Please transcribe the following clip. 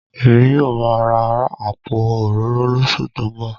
Èmi yóò máa ra àpò òróró lóṣù tó ń bọ̀